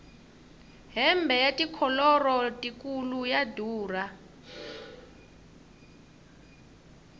hembe ya tikholoro tikulu ya durha